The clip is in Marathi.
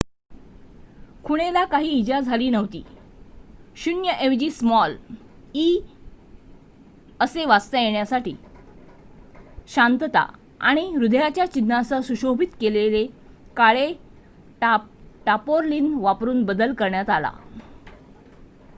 "खुणेला काही इजा झाली नव्हती; "o" ऐवजी स्मॉल "e" असे वाचता येण्यासाठी शांतता आणि हृदयाच्या चिन्हांसह सुशोभित केलेले काळे टार्पोलीन वापरून बदल करण्यात आला.